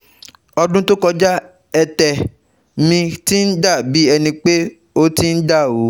ọdún tó kọjá, ẹ̀tè mi ti ń dà bí ẹni pé ó ti ń dà rú